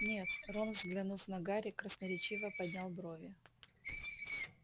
нет рон взглянув на гарри красноречиво поднял брови